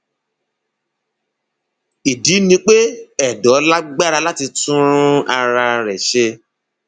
ìdí ni pé ẹdọ lágbára láti tún ara rẹ ṣe